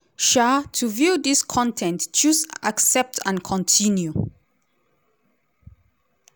um to view dis con ten t choose 'accept and continue'.